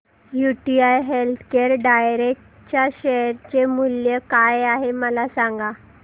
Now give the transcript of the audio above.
UTI healthcare direct च्या share चे मूल्य काय आहे मला सांगा